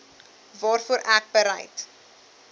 waarvoor ek bereid